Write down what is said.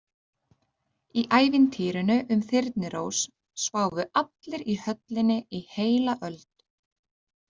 Í ævintýrinu um Þyrnirós sváfu allir í höllinni í heila öld.